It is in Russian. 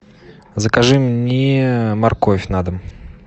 закажи мне морковь на дом